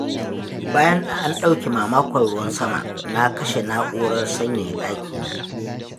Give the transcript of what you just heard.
Bayan an ɗauke mamakon ruwan sama na kashe na'urar sanyaya ɗakina.